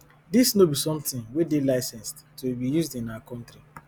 dis no be something wey dey licensed to be used in our country